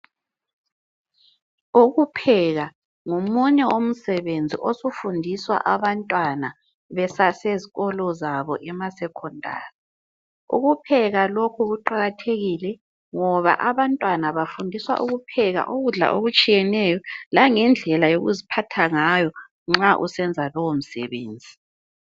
Ukupheka ngomunye umsebenzi osufundiswa abantwana besasezikolo zabo emasecondary ukupheka lokhu kuqakathekile ngoba abantwana bafundiswa ukupheka ukudla okutshiyeneyo langendlela yokuziphatha ngayo nxa usenza lowo msebenzi.